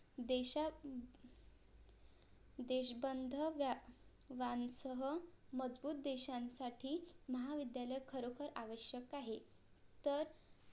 देशां देशबांधव वांसह मजबूत देशांसाठी महाविद्यालय खरोखर आवश्यक आहे तर